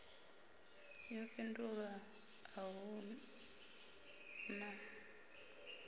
yo fhindulwa a hu na